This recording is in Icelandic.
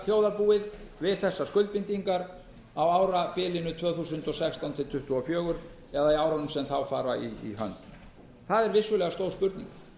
þjóðarbúið við þessar skuldbindingar á árabilinu tvö þúsund og sextán til tvö þúsund tuttugu og fjögur eða árunum sem þá fara í hönd það er vissulega stór spurning